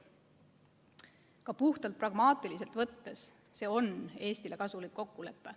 Ka puhtalt pragmaatiliselt võttes on see Eestile kasulik kokkulepe.